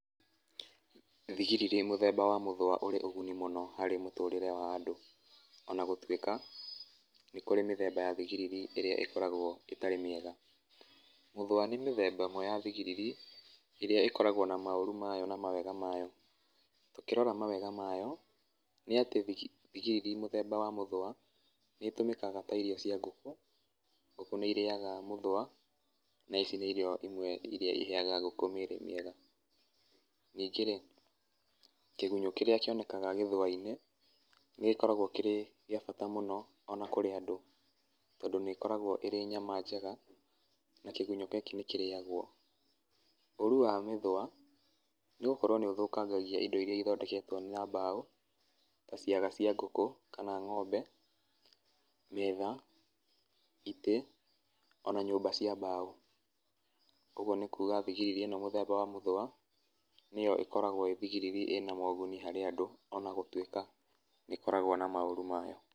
Thigiriri mũthemba wa mũthũa ũrĩ ũguni mũno harĩ mũtũrĩre wa andũ, ona gũtuĩka nĩ kũrĩ mĩthemba ya thigiriri ĩrĩa ĩkoragwo ĩtarĩ mĩega. Mũthũa nĩ mĩthemba ĩmwe ya thigiriri ĩrĩa ĩkoragwo na maũru mayo na mawega mayo. Tũkĩrora mawega mayo, nĩatĩ thigiriri mũthemba wa mũthũa nĩũtũmĩkaga ta irio cia ngũkũ. Ngũkũ nĩirĩaga mũthũa, na ici nĩ irio imwe iria iheaga ngũkũ mĩrĩ mĩega. Ningĩ-rĩ, kĩgunyũ kĩrĩa kĩonekaga gĩthũa-inĩ, nĩgĩoragwo kĩrĩ gĩa bata mũno ona kũrĩ andũ, tondũ nĩĩkoragwo ĩrĩ nyama njega, na kĩgunyũ gĩkĩ nĩkĩrĩagwo. Ũru wa mĩthũa, nĩgũkorwo nĩĩthũkangagia indo iria ithondeketwo na mbaũ, ta ciaga cia ngũkũ kana ng'ombe, metha, itĩ, ona nyũmba cia mbaũ. Ũguo nĩ kuga thigiriri ĩno mũthemba wa mũthũa, nĩyo ĩkoragwo ĩ thigiriri ĩna moguni harĩ andũ ona gũtuĩka nĩĩkoragwo na maũru mayo.